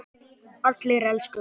Allir elskuðu hann.